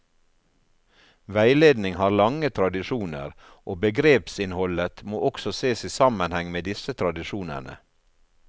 Veiledning har lange tradisjoner, og begrepsinnholdet må også ses i sammenheng med disse tradisjonene.